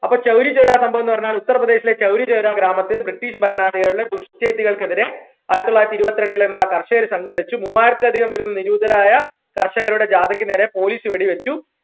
അപ്പോ ചൗരി ചൗരാ സംഭവംന്ന് പറഞ്ഞാൽ ഉത്തർപ്രദേശിലെ ചൗരി ചൗര ഗ്രാമത്തിൽ British ഭരണാധികാരികളെ ചെയ്തികൾക്കെതിരെ ആയിരത്തി തൊള്ളായിരത്തി ഇരുവത്രണ്ടിൽ എന്താ കർഷകർ സംഘടിച്ചു മൂവായിരത്തിൽ അധികം വരുന്ന നിരൂതരായ കർഷകരുടെ ജാതക്ക് നേരെ പോലീസ് വെടിവെച്ചു